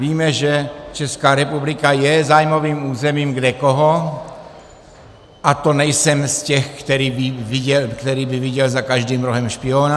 Víme, že Česká republika je zájmovým územím kdekoho, a to nejsem z těch, který by viděl za každým rohem špiona.